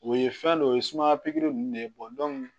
O ye fɛn dɔ ye o ye sumaya pikiri ninnu de ye